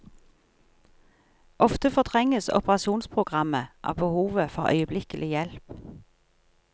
Ofte fortrenges operasjonsprogrammet av behovet for øyeblikkelig hjelp.